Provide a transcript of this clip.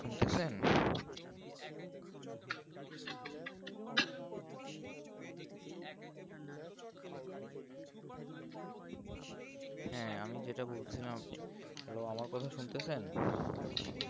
হ্যাঁ আমি যেটা বলছিলাম আপনি hello আমার কথা শুনতেছেন